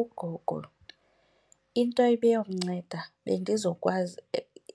Ugogo, into ebiyomnceda bendizokwazi